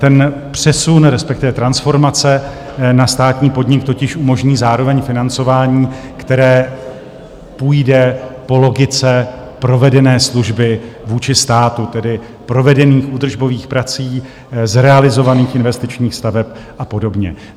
Ten přesun, respektive transformace na státní podnik totiž umožní zároveň financování, které půjde po logice provedené služby vůči státu, tedy provedených údržbových prací, zrealizovaných investičních staveb a podobně.